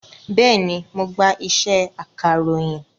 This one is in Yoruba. Bẹ́ẹ̀ni, mo gba iṣẹ́ akàròyìn